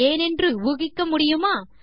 ஏனென்று ஊகிக்க முடியுமா